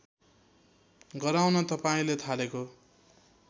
गराउन तपाईँले थालेको